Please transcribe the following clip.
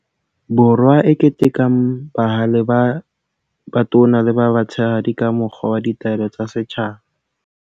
Borwa e ketekang bahale ba batona le ba batshehadi ka mokgwa wa Ditaelo tsa Setjhaba.